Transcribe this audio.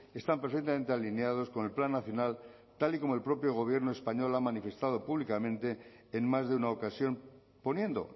están perfectamente alineados con el plan nacional tal y como el propio gobierno español ha manifestado públicamente en más de una ocasión poniendo